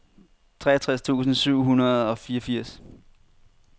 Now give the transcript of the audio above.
treogtres tusind syv hundrede og fireogfirs